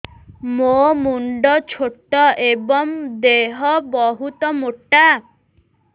ମୋ ମୁଣ୍ଡ ଛୋଟ ଏଵଂ ଦେହ ବହୁତ ମୋଟା